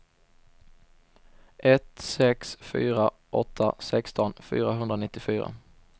ett sex fyra åtta sexton fyrahundranittiofyra